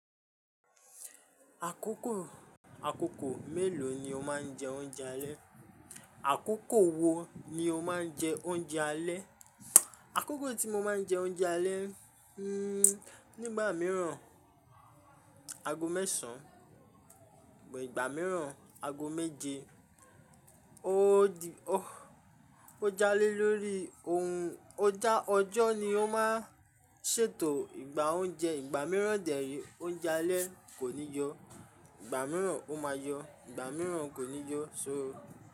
Àkókò, àkókò mélòó ni o máa ń jẹ oúnjẹ alẹ́? Àkókò wo ni o máa ń jẹ oúnjẹ alẹ́? Àkókò tí mo máa ń jẹ oúnjẹ alẹ́, hmm nígbà mìíràn ago mẹ́sàn bo ìgbà mìíràn ago méje. O di o-- ó jalé lórí ohun ó já ọjọ́ ni ó máa ń ṣètò ìgbà oúnjẹ. Ìgbà mìíràn dẹ̀rí, oúnjẹ alẹ́ kò ní yọ, ìgbà mìíràn ó máa yọ, ìgbà mìíràn kò ní yọ só.